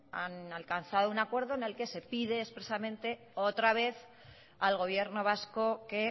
han alcanzado un acuerdo en el que se pide expresamente otra vez al gobierno vasco que